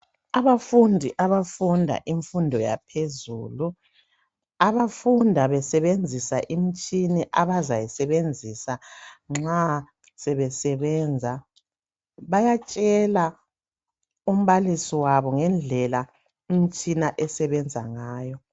Abafundi abafunda imfundo yaphezulu abafunda besebenzisa imitshina abazayisebenzisa nxa sebesebenza bayatshela umbalisi wabo ngendlela imitshina esebenza ngayo.